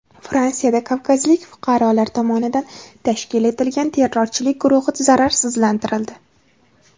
Fransiyada kavkazlik fuqarolar tomonidan tashkil etilgan terrorchilik guruhi zararsizlantirildi.